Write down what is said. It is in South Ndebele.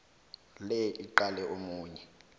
le iqale omunye